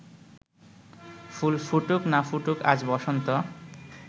ফুল ফুটুক না ফুটুক আজ বসন্ত